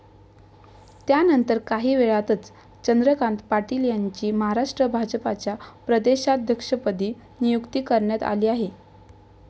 त्यानंतर, काहीवेळातच चंद्रकांत पाटील यांची महाराष्ट्र भाजपच्या प्रदेशाध्यक्षपदी नियुक्ती करण्यात आली आहे.